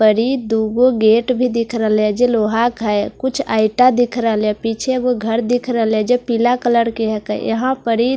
परी दूवों गेट भी दिख रले है जो लोहा का है कुछ ऐटा दिख रहेले पीछे वो घर दिख रहेले पीला कलर हे के है यहा परी----